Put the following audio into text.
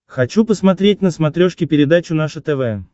хочу посмотреть на смотрешке передачу наше тв